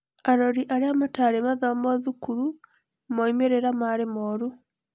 arori arĩa matarĩ mathomo thukuru, moimĩrĩra marĩ morũ.